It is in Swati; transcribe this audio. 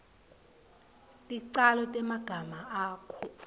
ticalo temagama akho